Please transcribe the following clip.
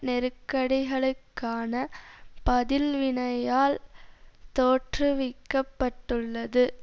நெருக்கடிகளுக்கான பதில்வினையால் தோற்றுவிக்க பட்டுள்ளது